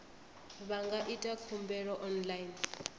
vha nga ita khumbelo online